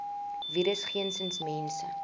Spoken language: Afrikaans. virus geensins mense